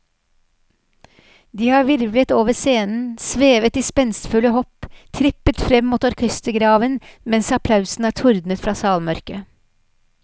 De har hvirvlet over scenen, svevet i spenstfulle hopp, trippet frem mot orkestergraven mens applausen har tordnet fra salmørket.